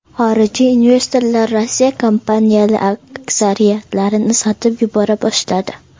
Xorijiy investorlar Rossiya kompaniyalari aksiyalarini sotib yubora boshladi.